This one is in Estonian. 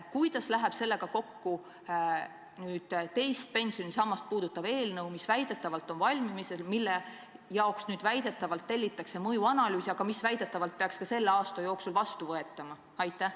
" Kuidas läheb sellega kokku teist pensionisammast puudutav eelnõu, mis väidetavalt on valmimas ja mille jaoks väidetavalt tellitakse mõjuanalüüse, aga mis väidetavalt peaks juba selle aasta jooksul vastu võetama?